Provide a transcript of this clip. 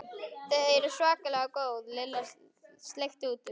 Þau eru svakalega góð Lilla sleikti út um.